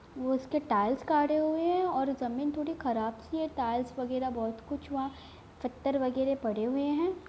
वो उस के टाइल्स काड़े हुए हैं और जमीन थोड़ी खराब-सी है| टाइल्स वगेरह बोहोत कुछ वहां पत्थर वगेरह पड़े हुए हैं।